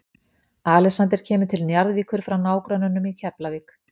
Alexander kemur til Njarðvíkur frá nágrönnunum í Keflavík.